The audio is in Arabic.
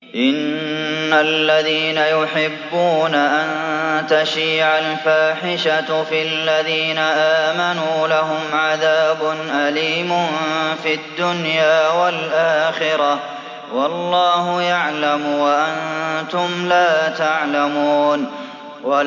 إِنَّ الَّذِينَ يُحِبُّونَ أَن تَشِيعَ الْفَاحِشَةُ فِي الَّذِينَ آمَنُوا لَهُمْ عَذَابٌ أَلِيمٌ فِي الدُّنْيَا وَالْآخِرَةِ ۚ وَاللَّهُ يَعْلَمُ وَأَنتُمْ لَا تَعْلَمُونَ